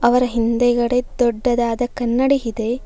ಅವರ ಹಿಂದುಗಡೆ ದೊಡ್ಡದಾದ ಕನ್ನಡಿ ಇದೆ.